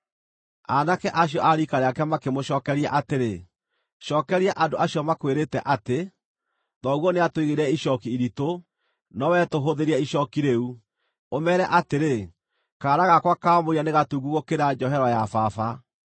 Aanake acio a riika rĩake makĩmũcookeria atĩrĩ, “Cookeria andũ acio makwĩrĩte atĩ, ‘Thoguo nĩatũigĩrĩire icooki iritũ, nowe tũhũthĩrie icooki rĩu,’ ũmeere atĩrĩ, ‘kaara gakwa ka mũira nĩ gatungu gũkĩra njohero ya baba.